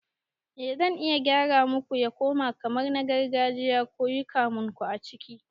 Eh zan iya gyara muku ya koma kamar na gargajiya kuyi kamunku a ciki